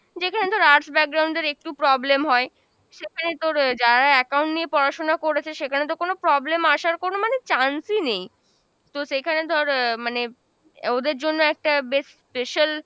যেখানে ধর arts এর একটু problem হয়, সেখানে তোর আহ যারা account নিয়ে পড়াশোনা করেছে সেখানে তো কোনো problem আসার কোনো মানে chance ই নেই। তো সেখানে ধর আহ মানে ওদের জন্য একটা বেশ special,